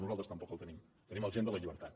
nosaltres tampoc el tenim tenim el gen de la llibertat